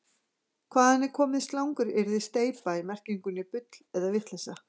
Hvaðan er komið slanguryrðið steypa í merkingunni bull eða vitleysa?